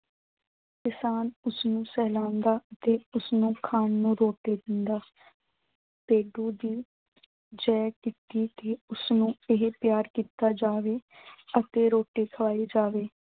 ਕਿਸਾਨ ਉਸਨੂੰ ਸਹਿਲਾਉਂਦਾ ਤੇ ਉਸਨੂੰ ਖਾਣ ਨੂੰ ਰੋਟੀ ਦਿੰਦਾ ਭੇਡੂ ਦੀ ਉਸਨੂੰ ਇਹ ਪਿਆਰ ਕੀਤਾ ਜਾਵੇ ਅਤੇ ਰੋਟੀ ਖਵਾਈ ਜਾਵੇ।